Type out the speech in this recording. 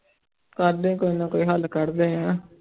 ਕਰਦੇ ਹਾਂ ਕੋਈ ਨਾ ਕੋਈ ਹੱਲ ਕੱਢਦੇ ਹਾਂ।